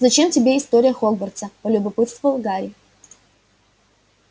зачем тебе история хогвартса полюбопытствовал гарри